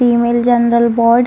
female general ward --